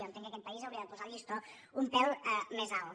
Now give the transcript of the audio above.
jo entenc que aquest país hauria de posar el llistó un pèl més alt